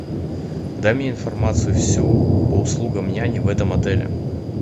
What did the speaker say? дай мне информацию всю по услугам няни в этом отеле